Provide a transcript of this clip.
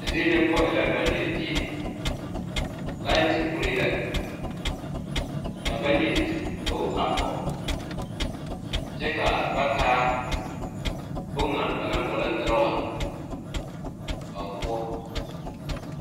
Die nyɛ poɔ e la bagnyire die laite uree la ka bangnyirbog a pog kyɛ ka taa bon ŋa banaŋ boɔlɔ drɔwa a o poɔ.